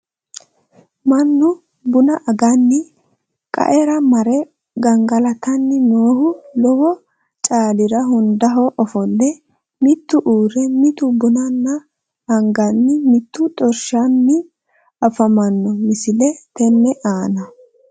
Mannu bunna anganni qaera mare gangalattanni noohu lowo caalira hundaho offolle, mittu uure, mittu banana aganni, mitu xorishshanni afammanno misile tenne aanna